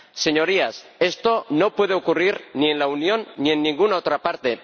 Señorías, esto no puede ocurrir, ni en la Unión, ni en ninguna otra parte.